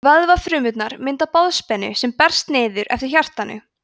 vöðvafrumurnar mynda boðspennu sem berst niður eftir hjartanu